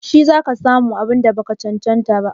Shi za ka sa mu abun da ba ka cancanta ba?